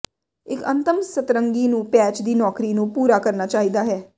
ਇੱਕ ਅੰਤਮ ਸਤਰੰਗੀ ਨੂੰ ਪੈਚ ਦੀ ਨੌਕਰੀ ਨੂੰ ਪੂਰਾ ਕਰਨਾ ਚਾਹੀਦਾ ਹੈ